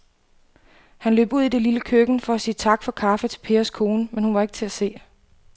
Han løb ud i det lille køkken for at sige tak for kaffe til Pers kone, men hun var ikke til at se.